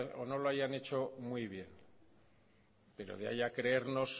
o no lohayan hecho muy bien pero de ahí a creernos